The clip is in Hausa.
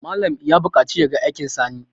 Malam ya buƙaci ya ga aikin Sani